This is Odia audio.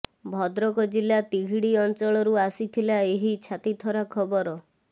ଭଦ୍ରକ ଜିଲ୍ଲା ତିହିଡି ଅଂଚଳରୁ ଆସିଥିଲା ଏହି ଛାତିଥରା ଖବର